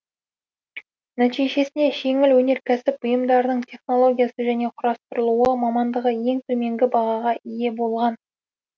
нәтижесінде жеңіл өнеркәсіп бұйымдарының технологиясы және құрастырылуы мамандығы ең төменгі бағаға ие болған